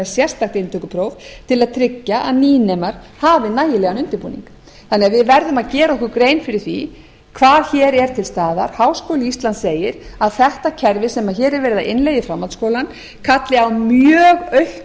sérstakt inntökupróf til að tryggja að nýnemar hafi nægjanlegan undirbúning þannig að við verðum að gera okkur grein fyrir því hvað hér er til staðar háskóli íslands segir að þetta kerfi sem hér er verið að innleiða í framhaldsskólann kalli á mjög aukna